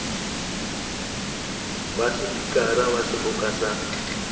wa sepikara wa seboka sa